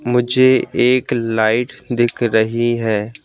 मुझे एक लाइट दिख रही है।